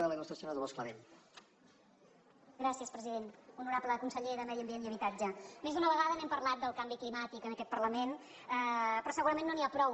honorable conseller de medi ambient i habitatge més d’una vegada n’hem parlat del canvi climàtic en aquest parlament però segurament no n’hi ha prou